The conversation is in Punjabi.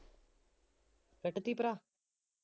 ਕੱਟ ਦੇਈਏ ਭਰਾ